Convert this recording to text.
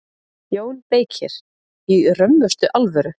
JÓN BEYKIR: Í römmustu alvöru.